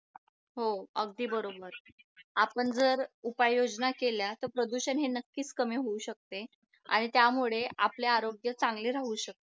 हो अगदी बरोबर आपण जर उपाय योजना केल्या तर प्रदूषण हे नक्की कमी होऊ शकते आणि त्यामुळे आपल्या आरोग्य चांगले राहू शकते